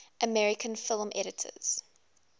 american film editors